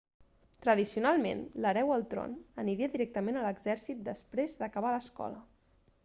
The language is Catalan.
tradicionalment l'hereu al tron aniria directament a l'exèrcit després d'acabar l'escola